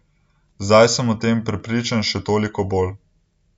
Zdaj sem o tem prepričan še toliko bolj.